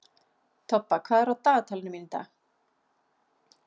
Tobba, hvað er á dagatalinu mínu í dag?